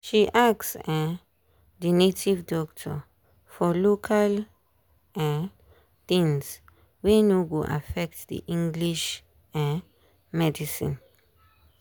she ask um the native doctor for local um things wey no go affect the english um medicine.